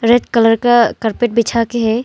Red colour का carpet बिछा के है।